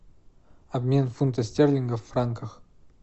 обмен фунта стерлингов в франках